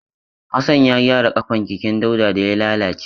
Hassan ya gyara ƙafan keken Dauda da ya lalace.